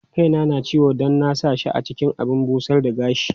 Kaina na ciwo don na sa shi cikin abin busar da gashi.